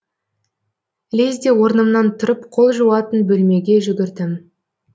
лезде орнымнан тұрып қол жуатын бөлмеге жүгірдім